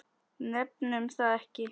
Nefnum það ekki.